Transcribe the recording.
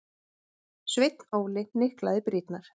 Sveinn Óli hnyklaði brýnnar.